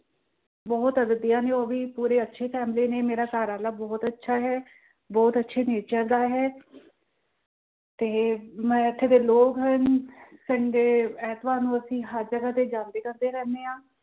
ਬਹੁਤ ਉਹ ਵੀ ਪੂਰੇ ਅੱਛੀ ਮੇਰੇ ਆ। ਘਰਵਾਲਾ ਬਹੁਤ ਅੱਛਾ ਹੈ, ਬਹੁਤ ਅੱਛੇ nature ਦਾ ਹੈ ਤੇ ਮੈਂ ਇੱਥੇ ਦੇ ਲੋਕ ਹਨ ਅਹ sunday ਐਤਵਾਰ ਨੂੰ ਅਸੀਂ ਹਰ ਜਗ੍ਹਾ ਤੇ ਜਾਂਦੇ ਆਂਦੇ ਰਹਿੰਦੇ